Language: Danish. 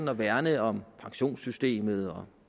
at værne om pensionssystemet og